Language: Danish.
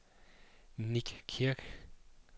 Nick Kirk